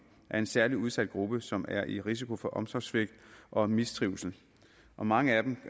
er en særlig udsat gruppe som er i risiko for omsorgssvigt og mistrivsel og mange af dem